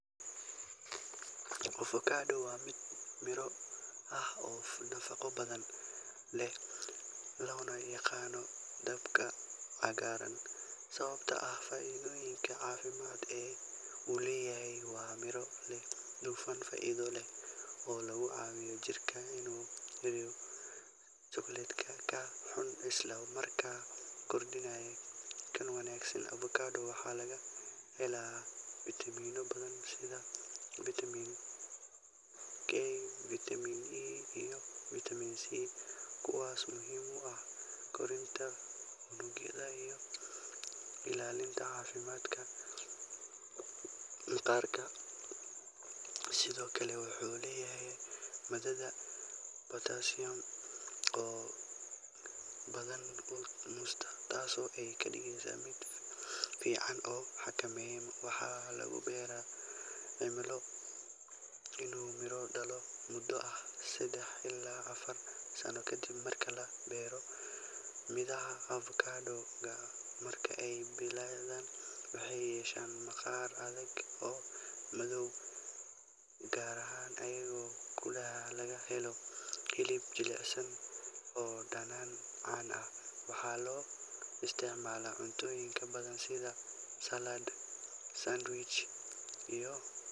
Avocado waa midho miro ah oo nafaqo badan leh, loona yaqaanno “dahabka cagaaran” sababtoo ah faa’iidooyinka caafimaad ee uu leeyahay. Waa miro leh dufan faa’iido leh oo la yiraahdo monounsaturated fat, taasoo ka caawisa jirka inuu yareeyo cholesterol-ka xun isla markaana kordhiyo kan wanaagsan. Avocado waxaa laga helaa fiitamiino badan sida Vitamin K, Vitamin E, iyo Vitamin C, kuwaasoo muhiim u ah koritaanka unugyada iyo ilaalinta caafimaadka maqaarka. Sidoo kale wuxuu leeyahay maadada potassium oo ka badan tan muuska, taasoo ka dhigeysa mid fiican oo xakameyn karta cadaadiska dhiigga. Midhaha avocado-ga waxaa lagu beeri karaa cimilo diiran oo qoyan, iyadoo geedka uu bilaabo inuu miro dhalo muddo ah saddex ilaa afar sano kadib marka la beero. Midhaha avocado-ga marka ay bislaadaan waxay yeeshaan maqaar adag oo madow ama cagaaran iyadoo gudaha laga helo hilib jilicsan oo dhanaan-caan ah. Waxaa loo isticmaalaa cuntooyin badan sida salad, sandwich, iyo.